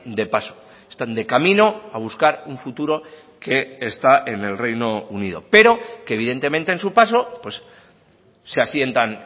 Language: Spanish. de paso están de camino a buscar un futuro que está en el reino unido pero que evidentemente en su paso pues se asientan